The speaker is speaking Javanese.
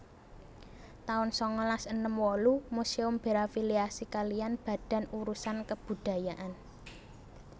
taun sangalas enem wolu Museum berafiliasi kaliyan Badan Urusan Kebudayaan